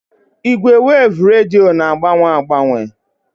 Ìgwè weevu rediyo na-agbanwe agbanwe